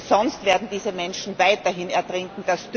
Denn sonst werden diese Menschen weiterhin ertrinken.